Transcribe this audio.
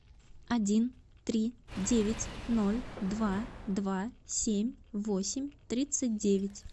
один три девять ноль два два семь восемь тридцать девять